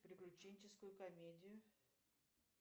приключенческую комедию